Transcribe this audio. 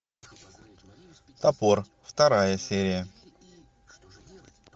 топор вторая серия